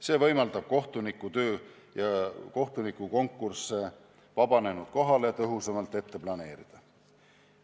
See võimaldab kohtunikutööd ja kohtunikukonkursse vabanenud kohale tõhusamalt ette planeerida.